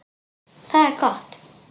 Það er gott